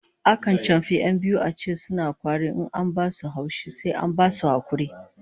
Akan chamfi 'yan biyu a ce suna kwari in an ba su haushi, sai an basu hakuri